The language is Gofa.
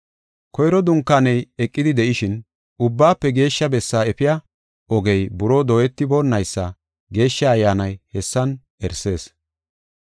Koyro dunkaaney eqidi de7ishin, Ubbaafe Geeshsha Bessaa efiya ogey buroo dooyetiboonaysa Geeshsha Ayyaanay hessan erisees.